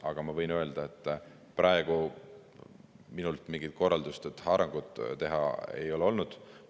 Aga ma võin öelda, et praegu minult mingit korraldust haarangut teha ei ole olnud.